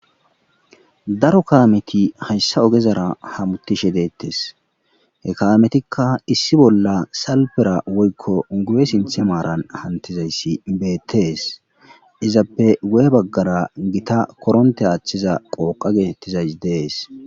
daro kaameti hayssa ogezara hamutishe deettes he kayametikka issi bolla salpera woykko gube sinthe maaran hantizayssi beettees izappe wu7e baggara gita koronte aathcthiza qooqa geetettizays dees